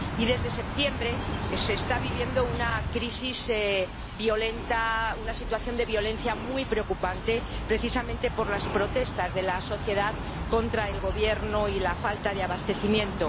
Y desde septiembre se está viviendo una crisis violenta —una situación de violencia muy preocupante— precisamente por las protestas de la sociedad contra el gobierno y la falta de abastecimiento.